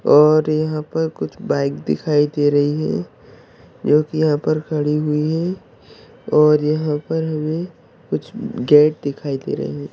और यहाँ पर कुछ बाइक दे रही है जो की यहाँ पर खड़ी हुई है और यहाँ पर हमे कुछ गेट दिखाई दे रहे है।